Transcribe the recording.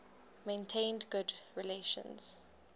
maintained good relations